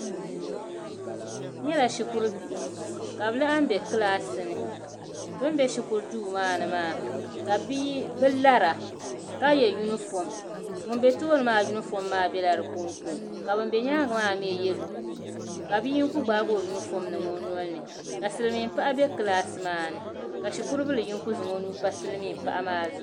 N nyɛla Shikuribihi ka bɛ laɣim be kilaasi ni bɛ ni be shikuri duu maa ni maa ka bii lara ka yɛ yunifɔɔm ŋun be tooni maa yunifɔɔm maa bela di ko ka ban be nyaanga maa mi ye lukuyi ka bia kuli gbaai o yunifɔɔm n niŋ o nolini ka silimiin paɣa be kilaasi maa ni ka shikuribili funky zaŋ o nuu mpa silimiin paɣa maa zuɣu.